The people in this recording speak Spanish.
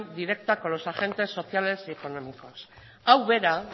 directa con los agentes sociales y económicos hau bera